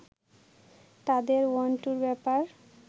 তাদের ওয়ান-টুর ব্যাপার